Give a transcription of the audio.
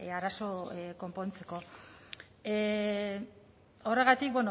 arazo konpontzeko horregatik